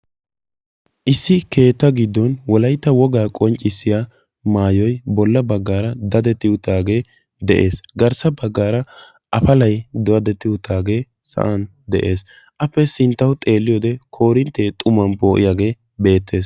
Issi keetta giddon wolaytta wogaa qoncissiyaa maayoy bolla baggara dadetti uttagge de'ees. Garssa baggara afallay dadetti uttagge sa'aan de'ees. Appe sinttawu xeeliyodde korintte xumaan poo'iyagge beettes.